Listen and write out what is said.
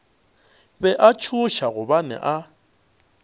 be a tšhoša gobane a